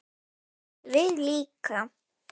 Við líka?